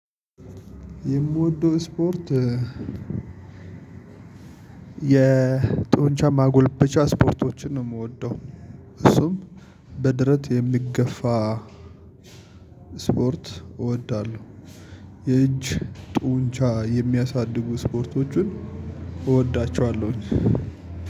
የምወደው ስፖርት የጦንቻ ማጎልበቻ ስፖርቶችን ነው የምወደው። እሱም በደረት የሚገፋ- ስፖርት እወዳለሁ። የእጅ ጡንቻ የሚያሳድጉ ስፖርቶቹን እወዳቸዋለሁኝ።